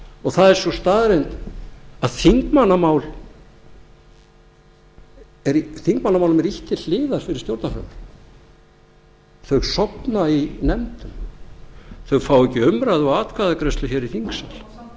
og það er sú staðreynd að þingmálamálum er ýtt til hliðar fyrir stjórnarfrumvörpum þau sofna í nefndum þau fá ekki umræðu og atkvæðagreiðslu hér